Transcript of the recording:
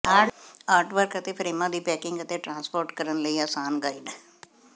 artwork ਅਤੇ ਫਰੇਮਾਂ ਦੀ ਪੈਕਿੰਗ ਅਤੇ ਟ੍ਰਾਂਸਪੋਰਟ ਕਰਨ ਲਈ ਅਸਾਨ ਗਾਈਡ